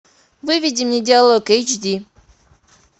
выведи мне диалог эйч ди